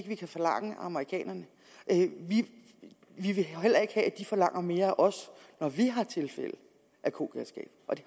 vi kan forlange af amerikanerne vi vil heller ikke have at de forlanger mere af os når vi har tilfælde af kogalskab og det